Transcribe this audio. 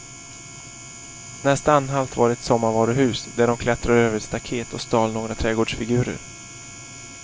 Nästa anhalt var ett sommarvaruhus, där de klättrade över ett staket och stal några trädgårdsfigurer.